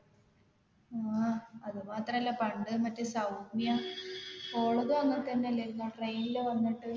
ആ അത് മാത്രല്ല പണ്ട് മറ്റേ സൗമ്യ ഓളതും അങ്ങനെ തന്നെല്ലേഞ്ഞോ train ൽ വന്നിട്ട്